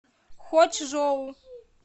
хочжоу